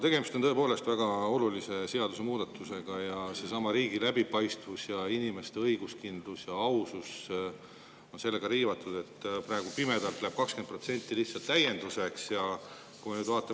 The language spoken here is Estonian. Tegemist on tõepoolest väga olulise seadusemuudatusega ja seesama riigi läbipaistvus ja inimeste õiguskindlus ja ausus on riivatud, sest praegu läheb 20% lihtsalt täienduseks.